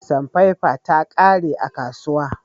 Sanfefe ta ƙare a kasuwa.